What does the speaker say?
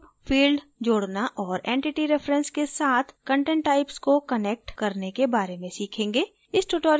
user group field जोडना और entity reference के साथ content types को कनेक्ट करने के बारे में सीखेंगे